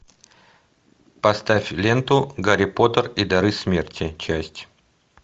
поставь ленту гарри поттер и дары смерти часть